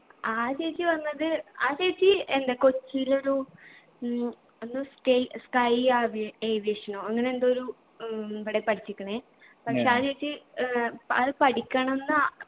ആ ചേച്ചി പറഞ്ഞത് ആ ചേച്ചി എന്താ കൊച്ചിയിലൊരു ഉം എന്തോ സ്റ്റയി sky aviation ഓ അങ്ങനെ എന്തോ ഒരു ഉം ഇവിടെ പഠിച്ചിക്ക്ണ് പക്ഷെ എ ചേച്ചി ഏർ അത് പഠിക്കണംന്ന് ആ